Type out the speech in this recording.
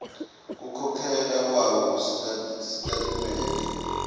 kukhokhela kwakho kusitatimende